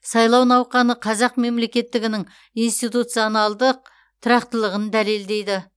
сайлау науқаны қазақ мемлекеттігінің институционалдық тұрақтылығын дәлелдейді